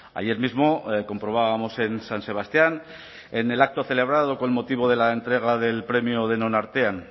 ayer mismo comprobábamos en san sebastián en el acto celebrado con motivo de la entrega del premio denon artean